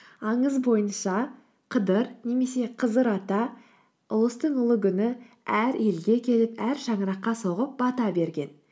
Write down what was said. аңыз бойынша қыдыр немесе қызыр ата ұлыстың ұлы күні әр елге келіп әр шаңыраққа соғып бата берген